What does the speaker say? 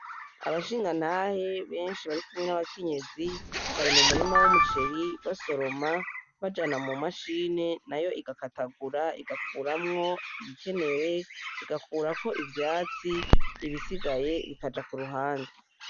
Abashingantahe benshi barikumwe nabakenyezi bari mumurima wumuceri basoroma bajana mumashini nayo igakatagura igakuramwo ibikenewe ,igakurako ivyatsi ibisigaye bikaja kuruhande .